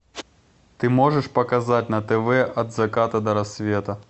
ты можешь показать на тв от заката до рассвета